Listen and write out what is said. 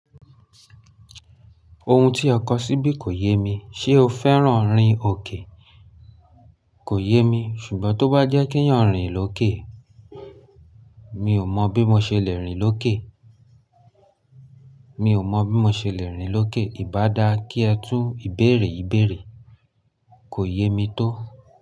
Ohun tí ọ kọ síbí kò yé mi. Ṣé o fẹ́ràn rin òkè? Kò yé mi, ṣùgbọ́n tó bá jẹ́ kí n yan rìn lókè, mi ò mọ̀ bí mo ṣe le rìn lókè. Mi ò mọ̀ bí mo ṣe le rìn lókè. Í bá dáa kí ẹ tún ìbéèrè yii beere, kò yé mi tó.